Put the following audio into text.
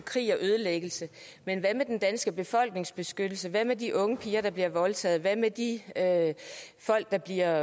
krig og ødelæggelse men hvad med den danske befolknings beskyttelse hvad med de unge piger der bliver voldtaget hvad med de folk der bliver